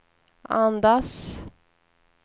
andas